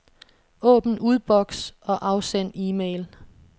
Åbn udboks og afsend e-mail.